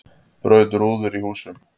Braut rúður í húsum